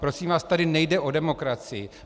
Prosím vás, tady nejde o demokracii.